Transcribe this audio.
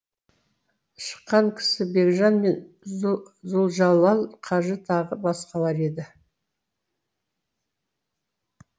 шыққан кісі бекжан мен зұлжалал қажы тағы басқалар еді